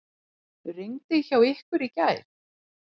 Rigndi hjá ykkur í gær?